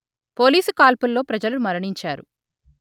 police కాల్పుల్లో ప్రజలు మరణించారు